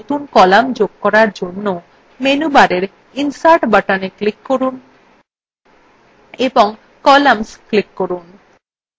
একইভাবে একটি নতুন column যোগ করার জন্য menu bar insert button click করুন এবং columns click করুন